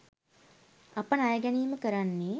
අප ණය ගැනීම කරන්නේ